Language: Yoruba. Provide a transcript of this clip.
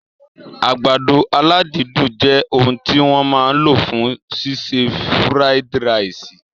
Àgbàdo aládídùn jẹ òun tí wọ́n máa lò fún ṣíṣe fried ìrẹsì